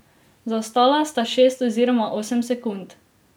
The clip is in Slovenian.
Zaostala sta šest oziroma osem sekund.